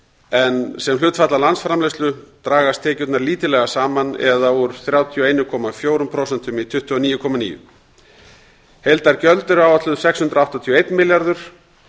en sem hlutfall af landsframleiðslu dragast tekjurnar lítillega saman það er úr þrjátíu og einu komma fjórum prósentum í tuttugu og níu komma níu prósent heildargjöld eru áætluð sex hundruð áttatíu og einn milljarður